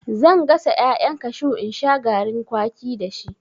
Zan gasa ƴaƴan kashu in sha garin kwaki dashi.